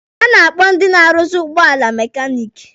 A na-akpọ ndị na-arụzị ụgbọala mekaniki.